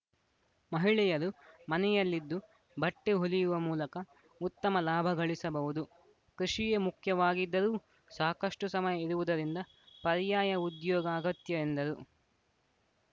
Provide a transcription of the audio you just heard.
ಮಹಿಳೆಯರು ಮನೆಯಲ್ಲಿದ್ದು ಬಟ್ಟೆಹೊಲಿಯುವ ಮೂಲಕ ಉತ್ತಮ ಲಾಭಗಳಿಸಬಹುದು ಕೃಷಿಯೇ ಮುಖ್ಯವಾಗಿದ್ದರೂ ಸಾಕಷ್ಟುಸಮಯ ಇರುವುದರಿಂದ ಪರ್ಯಾಯ ಉದ್ಯೋಗ ಅಗತ್ಯ ಎಂದರು